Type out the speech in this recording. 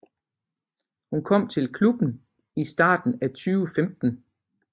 Hun kom til klubben i starten af 2015